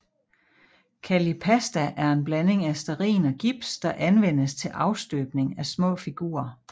Kallipasta er en blanding af stearin og gips der anvendes til afstøbning af små figurer